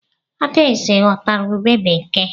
Adaeze ghọtara ubé bekee.